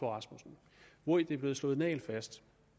rasmussen hvori det er blevet slået nagelfast